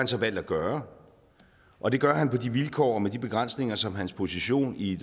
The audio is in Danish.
så valgt at gøre og det gør han på de vilkår og med de begrænsninger som hans position i